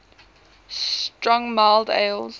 strong mild ales